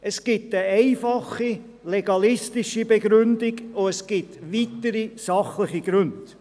Es gibt eine einfache, legalistische Begründung, und es gibt weitere sachliche Gründe.